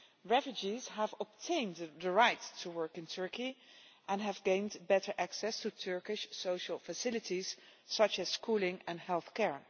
Refugees have obtained the right to work in Turkey and have gained better access to Turkish social facilities such as schooling and health care.